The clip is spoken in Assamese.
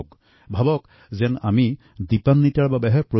এই কাৰ্যসুচীত সকলোৱেই অংশগ্ৰহণ কৰিব লাগিব